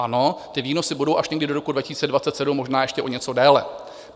Ano, ty výnosy budou až někdy do roku 2027, možná ještě o něco déle.